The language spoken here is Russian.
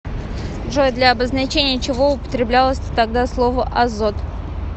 джой для обозначения чего употреблялось тогда слово азот